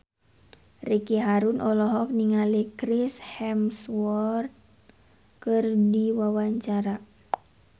Ricky Harun olohok ningali Chris Hemsworth keur diwawancara